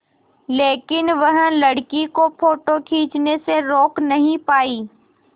लेकिन वह लड़की को फ़ोटो खींचने से रोक नहीं पाई